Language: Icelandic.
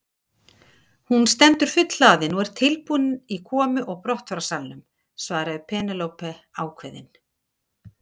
Hún stendur fullhlaðin og tilbúin í komu og brottfararsalnum, svarði Penélope ákveðin.